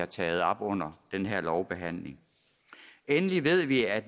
tage op under den her lovbehandling endelig ved vi at